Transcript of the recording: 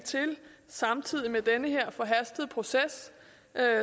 samtidig med den her forhastede proces